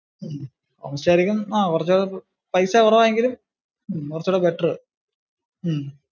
ഹും home stay ആരിക്കും പൈസ കുറവാണെങ്കിലും കുറച്ചു കൂടി better.